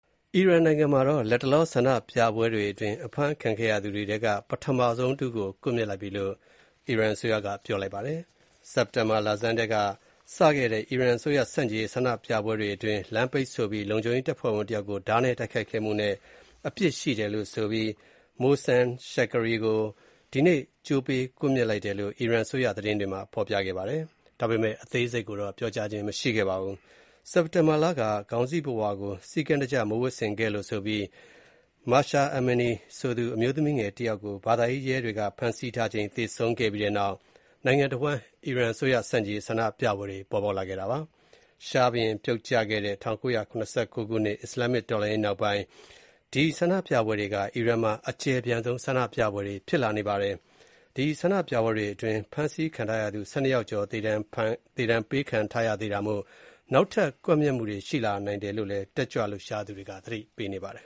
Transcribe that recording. အီရန်နိုင်ငံမှာ လတ်တလော ဆန္ဒပြပွဲတွေအတွင်း အဖမ်းခံရသူတွေထဲက ပထမဆုံးတဦးကို ကွပ်မျက်လိုက်ပြီလို့ အစိုးရက ပြောပါတယ်။ စက်တင်ဘာလယ်ပိုင်းစတင်ခဲ့တဲ့ အစိုးရဆန့်ကျင်ရေးဆန္ဒပြပွဲတွေအတွင်း လမ်းပိတ်ဆို့ပြီး လုံခြုံရေးတပ်ဖွဲ့ဝင်တယောက်ကို ဓားနဲ့တိုက်ခိုက်ခဲ့မှုနဲ့ အပြစ်ရှိတယ်လို့ဆိုပြီး Mohsen Shekari ဆိုသူကို ဒီနေ့ ကြိုးပေးကွပ်မျက်လိုက်တဲ့အကြောင်း အီရန်အစိုးရသတင်းတွေမှာ ဖော်ပြခဲ့ပါတယ်။ အသေးစိတ်တော့ ပြောကြားခြင်း မရှိပါဘူး။ စက်တင်ဘာလက ခေါင်းစည်းခြုံပုဝါကို စည်းကမ်းတကျ မဝတ်ဆင်ခဲ့လို့ဆိုပြီး Mahsa Amini ဆိုသူ အမျိုးသမီးငယ်တယောက်ကို ဘာသာရေးရဲတွေက ဖမ်းဆီးထားချိန် သေဆုံးခဲ့ပြီးနောက် နိုင်ငံတဝန်း အစိုးရဆန့်ကျင် ဆန္ဒပြပွဲတွေပေါ်ပေါက်ခဲ့တာပါ။ ရှားဘုရင်ပြုတ်ကျခဲ့တဲ့ ၁၉၇၉ ခုနှစ် အစ္စလာမ်မစ်လှန်ရေးနောက်ပိုင်း အီရန်မှာ အကျယ်ပြန့်ဆုံး ဆန္ဒပြပွဲတွေဖြစ်ခဲ့ပါတယ်။ အဲဒီဆန္ဒပြပွဲတွေအတွင်း ဖမ်းဆီးခံရသူ ၁၂ ယောက်ကျော် သေဒဏ်ပေးခံထားရတာမို့ နောက်ထပ် ကွပ်မျက်မှုတွေ ရှိလာနိုင်တယ်လို့ တက်ကြွလှုပ်ရှားသူတွေက သတိပေးနေပါတယ်